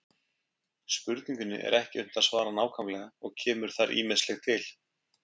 Spurningunni er ekki unnt að svara nákvæmlega og kemur þar ýmislegt til.